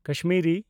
Kashmiri